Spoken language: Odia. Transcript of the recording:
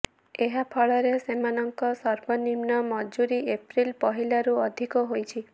ଏହାଫଳରେ ସେମାନଙ୍କ ସର୍ବନିମ୍ନ ମଜୁରି ଏପ୍ରିଲ ପହିଲାରୁ ଅଧିକ ହୋଇଛି